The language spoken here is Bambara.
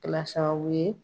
Kɛla sababu ye